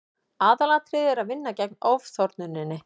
aðalatriðið er að vinna gegn ofþornuninni